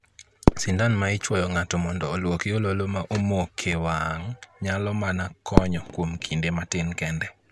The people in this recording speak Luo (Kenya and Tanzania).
Sindan ma ichuowo ng'ato mondo oluoki ololo ma omok e wang' nyalo mano konyo kuom kinde matin kende.